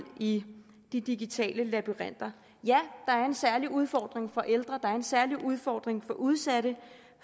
i de digitale labyrinter ja der er en særlig udfordring for ældre der er en særlig udfordring for udsatte